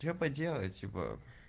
что поделать типа